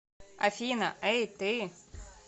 афина эй ты